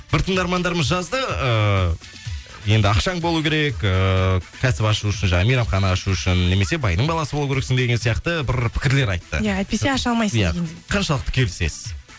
бір тыңдармандарымыз жазды ыыы енді ақшаң болу керек ыыы кәсіп ашу үшін жаңағы мейрамхана ашу үшін немесе байдың баласы болу керексің деген сияқты бір пікірлер айтты иә әйтпесе аша алмайсың деген иә қаншалықты келісесіз